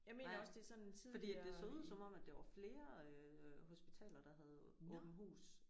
Nej fordi at det så ud som om at der var flere øh hospitaler der havde åbent hus